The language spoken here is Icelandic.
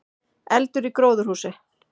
Eldur í gróðurhúsi